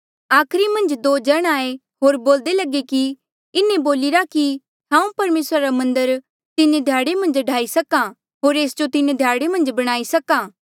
आखरी मन्झ दो जण आये होर बोल्दे लगे कि इन्हें बोलिरा कि हांऊँ परमेसरा रा मन्दर तीन ध्याड़े मन्झ ढाई सक्हा होर एस जो तीन ध्याड़े मन्झ बणाई सक्हा